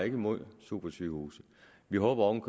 imod supersygehuse vi håber oven